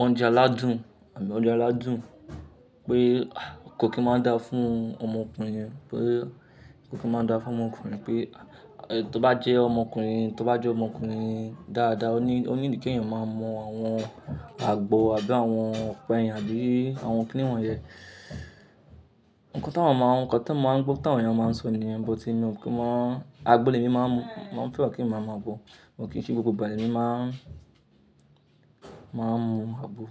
oúnjẹ aládùn àbí oúnjẹ aládùn pé kò kí máa dáa fún ọmọkùnrin, pé kò kí máa dáa fún ọmọkùnrin pé tó bá jẹ́ ọmọkùnrin, tó bá jẹ́ ọmọkùnrin dáadáa, ó ní, ó need í kí ènìyàn máa mọ àwọn àgbo àbí àwọn ọ̀pẹyìn àbí àwọn kìnì wọ̀n yẹn. Ǹkan tí àwọn máa ń, ǹkan tí mò ń gbọ́ tí àwọn èèyàn máa ń sọ nìyẹn, botí èmi kò mọ àgbò lèmi máa ń mu, mò ń fẹ́ràn kí ń máa ma gbo, mo kì í ṣe gbogbo ìgbà lèmi máa ń, máa ń mu àgbo.